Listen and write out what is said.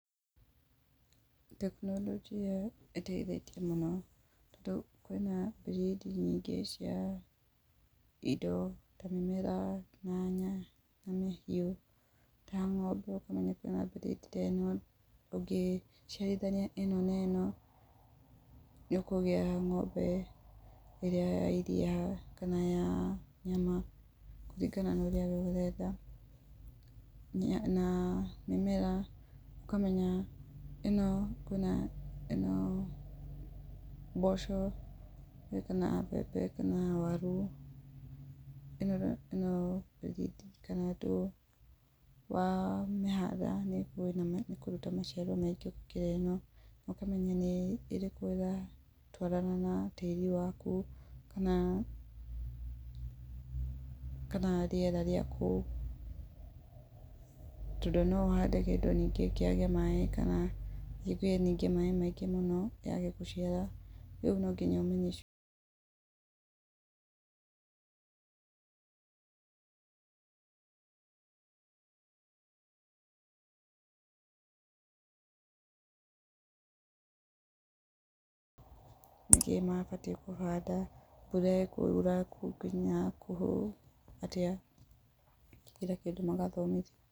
Tekinoronjĩa ĩteitetie mũno, tondũ kwĩna breed nyingĩ cia indo tamĩmera, nyanya, na mahiũ, tang'ombe ũkona breed teno ũngĩciarithania ĩno na ĩno, nĩ ũkũgĩa ng'ombe ĩrĩa ya iria, kana ya nyama, kũringana na ũrĩa we ũrenda. Na mĩmera, ũkamenya ĩno, kwĩna ĩno mboco, kana mbembe kana waru ĩkoretwo wamĩhanda nĩ ĩkũruta maciaro maingĩ gũkĩra ĩno, ũkamenya nĩ ĩrĩkũ ĩratwarana na tĩri waku, kana rĩera rĩa kũu. Tondũ no ũhande kĩndũ ningĩ kĩage maaĩ, na ningĩ kĩgĩe maaĩ maingĩ mũno kĩage gũciara, rĩu no nginya ũmenye nĩkĩĩ mabatiĩ kũhanda, mbura ĩkura nginya kũũ, atĩa, na kila kĩndũ magathomithio.